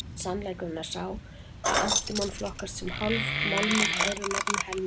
Sannleikurinn er sá að antímon flokkast sem hálfmálmur, öðru nafni melmi.